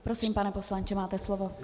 Prosím, pane poslanče, máte slovo.